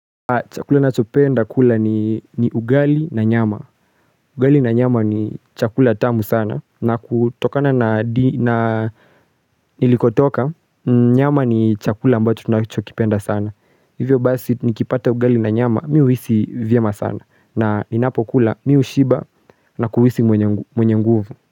Chakula nachopenda kula ni ugali na nyama. Ugali na nyama ni chakula tamu sana na kutokana na ilikotoka nyama ni chakula ambacho tunachokipenda sana. Hivyo basi nikipata ugali na nyama mi huhisi vyema sana na ninapo kula mi hushiba na kuhisi mwenye nguvu.